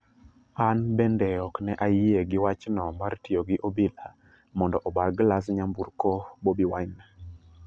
" an bende ok ne ayie gi wachno mar tiyo gi obila mondo obar glas nyamburko Bobi Wine.